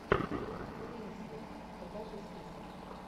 кейт уинслет покажи список